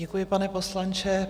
Děkuji, pane poslanče.